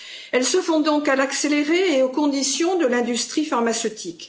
Elles se font donc de façon accélérée et aux conditions de l'industrie pharmaceutique.